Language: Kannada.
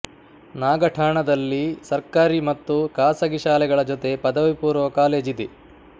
ನಾಗಠಾಣದಲ್ಲಿ ಸರ್ಕಾರಿ ಮತ್ತು ಖಾಸಗಿ ಶಾಲೆಗಳ ಜೊತೆ ಪದವಿಪೂರ್ವ ಕಾಲೇಜಿದೆ